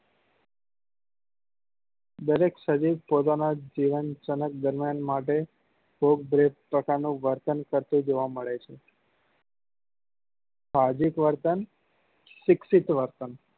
દરેક સજીવ પોતાના જીવન સમજ દરમિયાન માટે પ્રકાર નું વર્તન કરતું જોવા મળે છે સાહસિક વર્તન શિક્ષિત વર્તન